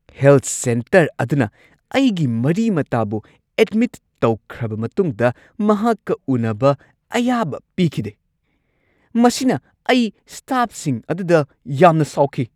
Health centre ꯑꯗꯨꯅ ꯑꯩꯒꯤ ꯃꯔꯤ-ꯃꯇꯥꯕꯨ ꯑꯦꯗꯃꯤꯠ ꯇꯧꯈ꯭ꯔꯕ ꯃꯇꯨꯡꯗ ꯃꯍꯥꯛꯀ ꯎꯅꯕ ꯑꯌꯥꯕ ꯄꯤꯈꯤꯗꯦ ꯫ ꯃꯁꯤꯅ ꯑꯩ ꯁ꯭ꯇꯥꯐꯁꯤꯡ ꯑꯗꯨꯗ ꯌꯥꯝꯅ ꯁꯥꯎꯈꯤ ꯫